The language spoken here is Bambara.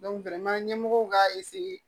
ɲɛmɔgɔw k'a